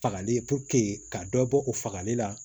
Fagali ka dɔ bɔ o fagali la